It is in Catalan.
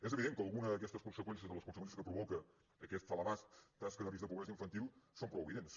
és evident que algunes d’aquestes conseqüències de les conseqüències que provoca aquesta elevada taxa de risc de pobresa infantil són prou evidents